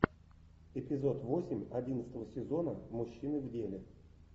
эпизод восемь одиннадцатого сезона мужчины в деле